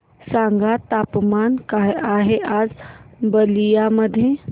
सांगा तापमान काय आहे आज बलिया मध्ये